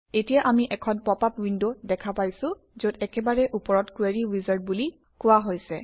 এতিয়া আমি এখন পপআপ উইণ্ড দেখা পাইছোঁ যত একেবাৰে ওপৰত কোৰী উইজাৰ্ড বুলি কোৱা হৈছে